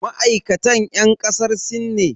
Ma'aikatan yan kasar sin ne?